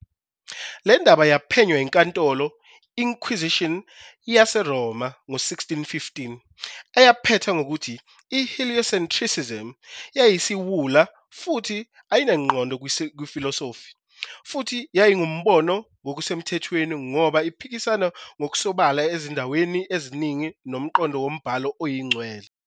Le ndaba yaphenywa yiNkantolo Inquisition YaseRoma ngo-1615, eyaphetha ngokuthi I heliocentrism "yayiyisiwula futhi ayinangqondo kwifilosofi, futhi yayingumbono ngokusemthethweni ngoba iphikisana ngokusobala ezindaweni eziningi nomqondo woMbhalo Oyingcwele".